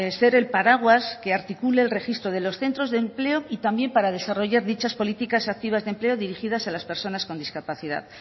ser el paraguas que articule el registro de los centros de empleo y también para desarrollar dichas políticas activas de empleo dirigidas a las personas con discapacidad